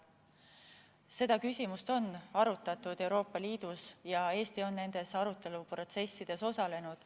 Seda küsimust on arutatud Euroopa Liidus ja Eesti on nendes aruteluprotsessides osalenud.